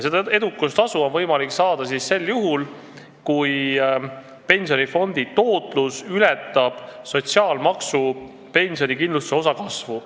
Seda on võimalik saada sel juhul, kui pensionifondi tootlus ületab sotsiaalmaksu pensionikindlustuse osa kasvu.